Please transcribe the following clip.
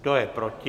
Kdo je proti?